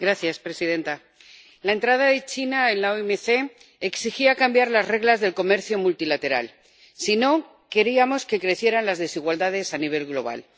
Señora presidenta, la entrada de China en la OMC exigía cambiar las reglas del comercio multilateral si no queríamos que crecieran las desigualdades a nivel global.